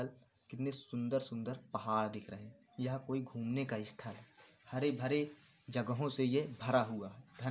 कितने सुंदर-सुंदर पहाड़ दिख रहे हैं। यह कोई घूमने का स्थाल है। हरे भरे जगहों से ये भरा हुआ है। ध --